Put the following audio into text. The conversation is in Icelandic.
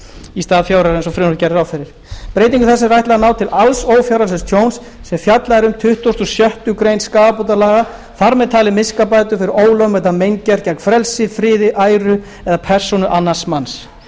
í stað fjögurra ára eins og frumvarpið gerir ráð fyrir breytingu þessari er ætlað að ná til alls ófjárhagslegs tjóns sem fjallað er um í tuttugasta og sjöttu greinar skaðabótalaga þar með talin miskabætur fyrir ólögmæta meingerð gegn frelsi friði æru eða persónu annars manns